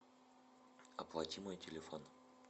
оплати мой телефон